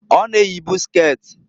Ọ na eyibu sket.